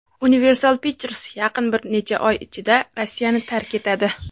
Universal Pictures yaqin bir necha oy ichida Rossiyani tark etadi.